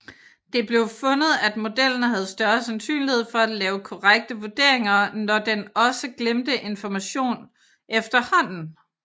Det blev fundet at modellen havde større sandsynlighed for at lave korrekte vurderinger når den også glemte information efterhånden